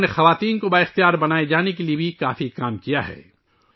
انہوں نے خواتین کو بااختیار بنانے کے لئے بھی بہت کام کیا ہے